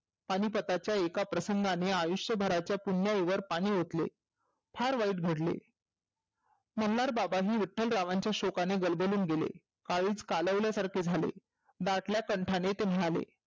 पानीपतच्या एका प्रसंगाने आयुष्यभराच्या पुन्याईवर पाणि ओतले. फार वाईट घडले. मल्हारबाबा ही विठ्ठलरावांच्या शोकानी गलबलून गेले. काळीज कालवल्या सारखे झाले. दाटल्या कंठाने ते म्हणाले.